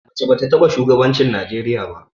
Mace ba ta taɓa shugabancin Najeriya ba.